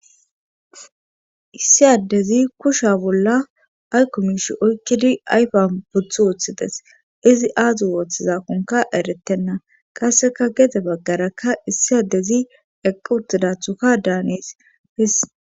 Issi addezi kushiya bolli aykko miishshi oykkidi ayfiyan woththi uttidees. izi aazi wotidaakon eretena qassekka gede bagara issi adezi eqqi uttidi uttidaththokka daanees.